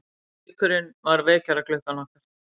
Gaukurinn var vekjaraklukkan okkar.